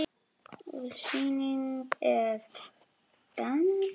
Sýning getur átt við um